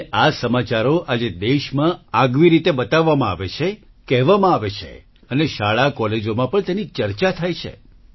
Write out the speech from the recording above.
અને આ સમાચારો આજે દેશમાં આગવી રીતે બતાવવામાં આવે છે કહેવામાં આવે છે અને શાળાકોલેજોમાં પણ તેની ચર્ચા થાય છે